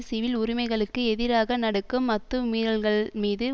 civil உரிமைகைளுக்கு எதிராக நடக்கும் அத்துமீறல்கள்மீது